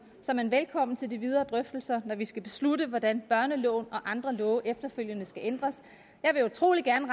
er man velkommen til de videre drøftelser når vi skal beslutte hvordan børneloven og andre love efterfølgende skal ændres jeg vil utrolig gerne